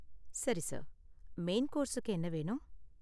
சரி sir, main கோர்ஸுக்கு என்ன வேணும்?